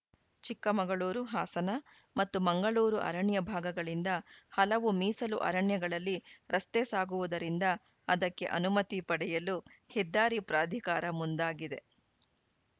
ಚಿಕ್ಕಮಗಳೂರು ಹಾಸನ ಮತ್ತು ಮಂಗಳೂರು ಅರಣ್ಯ ಭಾಗಗಳಿಂದ ಹಲವು ಮೀಸಲು ಅರಣ್ಯಗಳಲ್ಲಿ ರಸ್ತೆ ಸಾಗುವುದರಿಂದ ಅದಕ್ಕೆ ಅನುಮತಿ ಪಡೆಯಲು ಹೆದ್ದಾರಿ ಪ್ರಾಧಿಕಾರ ಮುಂದಾಗಿದೆ